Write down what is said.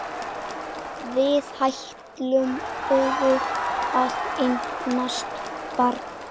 Við ætluðum að eignast barn.